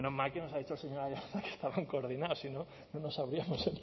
menos mal que nos ha dicho el señor aiartza que estaban coordinados si no no nos habríamos